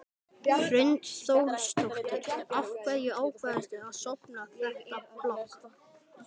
Hrund Þórsdóttir: Af hverju ákvaðstu að stofna þetta blogg?